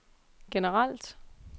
generelt